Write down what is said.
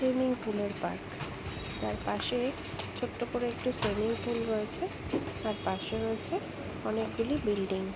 Swimming পুলের park. যার পাশে ছোট্ট করে একটি সুইমিং পুল রয়েছে। তার পাশে রয়েছে অনেক গুলি বিল্ডিং ।